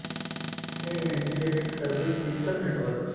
ਇਹ anti project service digital network